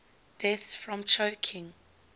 deaths from choking